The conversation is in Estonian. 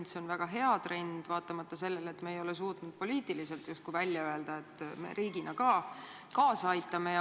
Ja see on väga hea trend, vaatamata sellele, et me ei ole suutnud poliitiliselt justkui välja öelda, et me riigina sellele ka kaasa aitame.